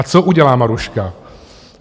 A co udělá Maruška?